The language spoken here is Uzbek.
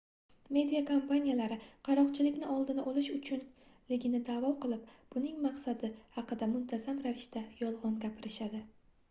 media kompaniyalari qaroqchilikni oldini olish uchunligini daʼvo qilib buning maqsadi haqida muntazam ravishda yolgʻon gapirishadi